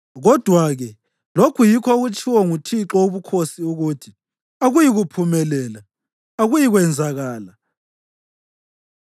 Kodwa-ke lokhu yikho okutshiwo nguThixo Wobukhosi ukuthi: “ ‘Akuyikuphumelela, akuyikwenzakala,